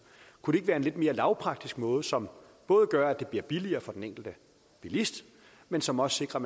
kunne det ikke være en lidt mere lavpraktisk måde som både gør at det bliver billigere for den enkelte bilist men som også sikrer